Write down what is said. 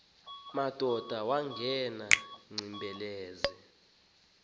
madoda wangena ugcinizibele